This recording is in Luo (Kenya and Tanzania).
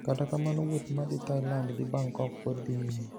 Kata kamano wuoth ma dhi Thailand gi Bangkok pod dhi nyime